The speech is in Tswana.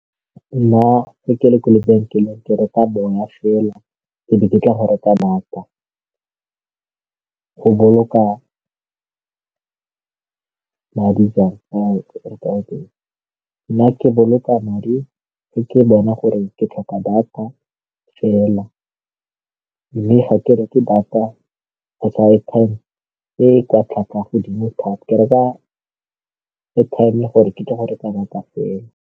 Nna ga ke le kwa lebenkeleng ke reka bona fela e be ke tla go reka data go boloka madi nna ke boloka madi ka ke bona gore ke tlhoka data fela mme ga ke re ke data kgotsa airtime e kwa tlhwatlhwa ya godimo thata ke reka airtime gore ke tle go reka data fela.